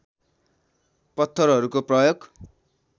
पत्थरहरूको प्रयोग